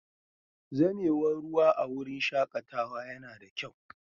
Zamewar ruwa a wurin shakatawa yana da kyau.